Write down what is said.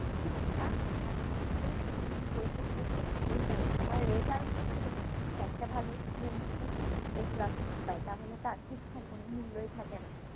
শিক্ষা মানেই হচ্ছে যে তুমি বই পড়তেছ ওইটাই তোমার result হচ্ছে তোমার শিক্ষা একটা ভালো student যদি a plus না পাই তাহলে তার শিক্ষার কোনো মূল্যই থাকে না